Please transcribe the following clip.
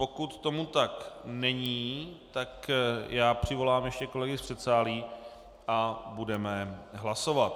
Pokud tomu tak není, tak já přivolám ještě kolegy z předsálí a budeme hlasovat.